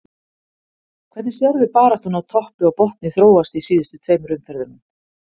Hvernig sérðu baráttuna á toppi og botni þróast í síðustu tveimur umferðunum?